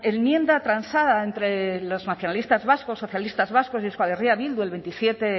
enmienda transada entre los nacionalistas vascos socialistas vascos y euskal herria bildu el veintisiete